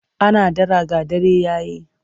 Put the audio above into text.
Ana dara ga dare ya yi.